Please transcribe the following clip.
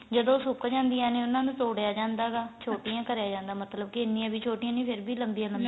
ਜਦੋ ਸੁਕ ਜਾਂਦੀਆਂ ਨੇ ਉਹਨਾ ਨੂੰ ਤੋੜੀਆਂ ਜਾਂਦਾ ਗਾ ਛੋਟੀਆਂ ਕਰੀਆਂ ਜਾਂਦਾ ਮਤਲਬ ਇੰਨੀਆਂ ਵੀ ਛੋਟੀਆਂ ਨੀ ਫੇਰ ਵੀ ਲੰਬੀਆਂ ਲੰਬੀਆਂ